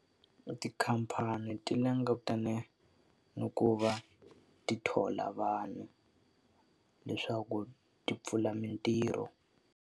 Tikhamphani ti langutane na ku va ti thola vanhu, leswaku ti pfula mitirho.